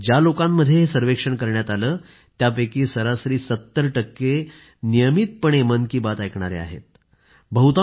ज्या लोकांमध्ये हे सर्वेक्षण करण्यात आलं आहे त्यापैकी सरासरी 70 टक्के नियमितपणे मन की बात ऐकणारे लोक आहेत